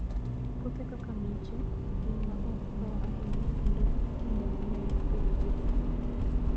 Puothe kaka miche, gin ma ok tho ahinya kendo kinde mang'eny ipidhogi e gwenge motwo.